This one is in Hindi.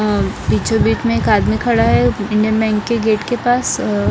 और बीचो बीच में एक आदमी खड़ा हैं इने मेन के गेट के पास--